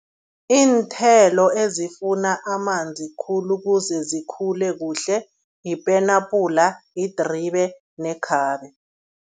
Iinthelo ezifuna amanzi khulu ukuze zikhule kuhle, yipenapula, yidribe nekhabe.